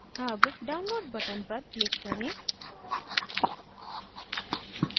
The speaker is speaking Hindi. अब download button पर click करें